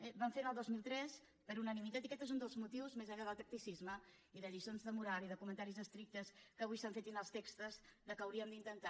ho vam fer el dos mil tres per unanimitat i aquest és un dels motius més enllà del tacticisme i de lliçons de moral i de comentaris estrictes que avui s’han fet i dels textos pels quals que hauríem d’intentar